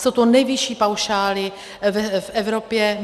Jsou to nejvyšší paušály v Evropě.